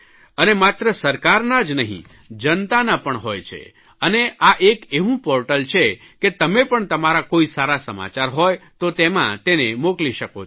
અને માત્ર સરકારના જ નહીં જનતાના પણ હોય છે અને આ એક એવું પોર્ટલ છે કે તમે પણ તમારા કોઇ સારા સમાચાર હોય તો તેમાં તેને મોકલી શકો છો